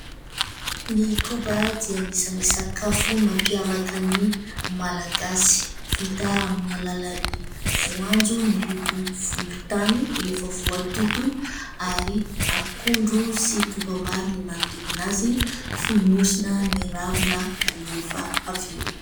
Ny koba dia anisan'ny sakafo mampiavaka ny Malagasy. Vita amin'ny alalan'ny voanjo miloko volontany rehefa voatoto ary akondro sy kobam-bary no manodidina azy, fonosina amin'ny ravina rehefa avy eo.